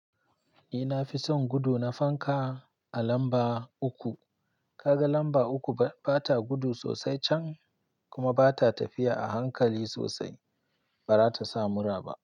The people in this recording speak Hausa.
Ni na fi son gudu na fanka a lamba uku. Ka ga lamba uku ba ta gudu sosai can, kuma ba ta tafiya a hankali sosai, ba ra ta sa mura ba.